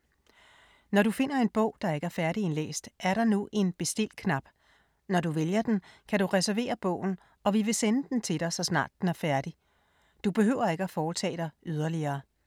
Når du finder en bog, der ikke er færdigindlæst, er der nu en Bestil-knap. Når du vælger den, kan du reservere bogen og vi vil sende den til dig, så snart den er færdig. Du behøver ikke at foretage dig yderligere.